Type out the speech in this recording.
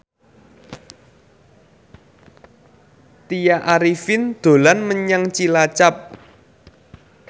Tya Arifin dolan menyang Cilacap